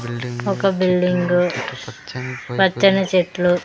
ఒక బిల్డింగ్ పచ్చని చెట్లు.